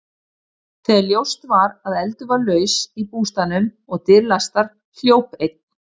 Þegar ljóst var að eldur var laus í bústaðnum og dyr læstar, hljóp einn